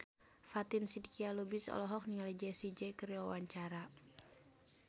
Fatin Shidqia Lubis olohok ningali Jessie J keur diwawancara